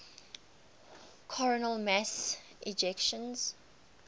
coronal mass ejections